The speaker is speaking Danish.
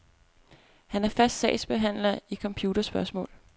Han er fast sagsbehandler i computerspørgsmål.